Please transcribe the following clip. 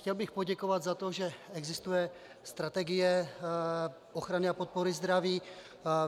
Chtěl bych poděkovat za to, že existuje strategie ochrany a podpory zdraví.